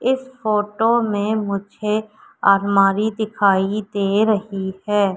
इस फोटो में मुझे अलमारी दिखाई दे रही है।